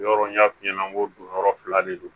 Yɔrɔ n y'a f'i ɲɛna n ko don yɔrɔ fila de don